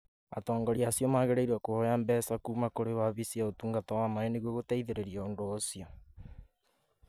Atongoria acio magĩrĩirũo kũhoya mbeca kuuma kũrĩ wabici ya Ũtungata wa Maaĩ nĩguo gũteithĩrĩria ũndũ ũcio.